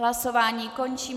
Hlasování končím.